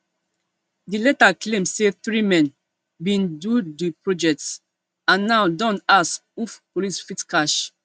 di letter claim say three men bin do di project and now don ass who police fit catch